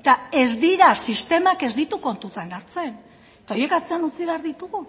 eta ez dira sistemak ez ditu kontutan hartzen eta horiek atzean utzi behar ditugu